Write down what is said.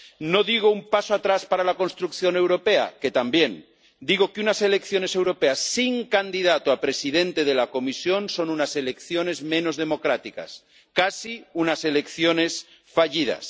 No digo un paso atrás para la construcción europea, que también, digo que unas elecciones europeas sin candidato a presidente de la Comisión son unas elecciones menos democráticas, casi unas elecciones fallidas.